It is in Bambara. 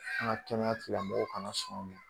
An ka kɛnɛya tigilamɔgɔw kana sɔn